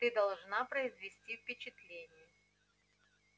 ты должна произвести впечатление